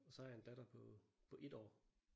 Og så har jeg en datter på på 1 år